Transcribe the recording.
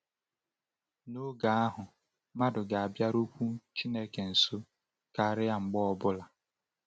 N’oge ahụ, mmadụ ga-abịarukwu Chineke nso karịa mgbe ọ bụla.